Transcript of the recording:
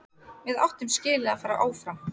Við áttum skilið að fara áfram.